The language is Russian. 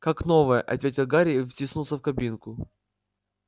как новая ответил гарри и втиснулся в кабинку